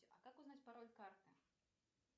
а как узнать пароль карты